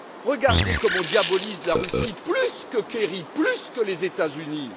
Voyez comme il diabolise la Russie, plus que Kerry, plus que les États Unis.